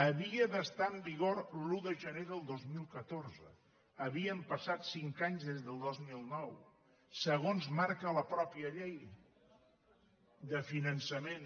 havia d’estar en vigor l’un de gener del dos mil catorze havien passat cinc anys des del dos mil nou segons marca la mateixa llei de finançament